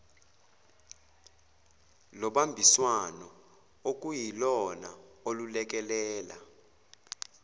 lobambiswano okuyilona olulekelela